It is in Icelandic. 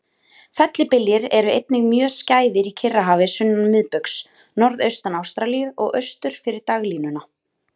Fellibyljir eru einnig mjög skæðir á Kyrrahafi sunnan miðbaugs, norðaustan Ástralíu og austur fyrir dagalínuna.